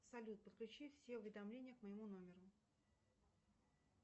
салют подключи все уведомления к моему номеру